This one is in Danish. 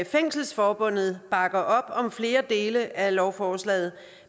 fængselsforbundet bakker op om flere dele af lovforslaget